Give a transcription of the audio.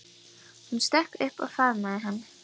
Hún stökk upp og faðmaði hann.